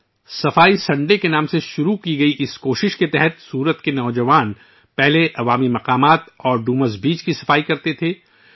اس کوشش کے تحت، جس کا آغاز 'صفائی سنڈے ' کے نام سے ہوا تھا، سورت کے نوجوان ، اس سے پہلے عوامی مقامات اور ڈوماس بیچ کی صفائی کیا کرتے تھے